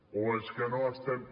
o és que no estem